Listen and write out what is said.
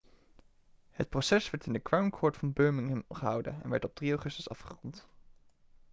het proces werd in de crown court van birmingham gehouden en werd op 3 augustus afgerond